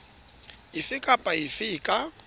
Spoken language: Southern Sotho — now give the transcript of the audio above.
efe kapa efe e ka